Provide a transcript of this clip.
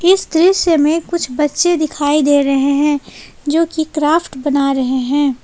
इस दृश्य में कुछ बच्चे दिखाई दे रहे हैं जो की क्राफ्ट बना रहे हैं।